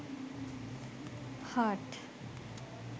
heart